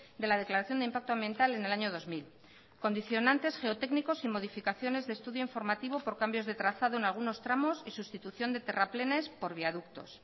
de la declaración de impacto ambiental en el año dos mil condicionantes geotécnicos y modificaciones de estudio informativo por cambios de trazado en algunos tramos y sustitución de terraplenes por viaductos